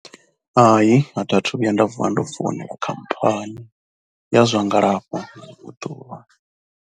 Hayi, athiathu vhuya nda vuwa ndo foinela khamphani ya zwa ngalafho na ḽiṅwe ḓuvha.